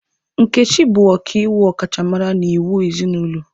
Nkechi bụ ọkaiwu ọkachamara n'iwu ezinụlọ.